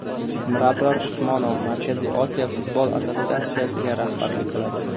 Mirabror Usmonov Markaziy Osiyo futbol assotsiatsiyasiga rahbarlik qiladi.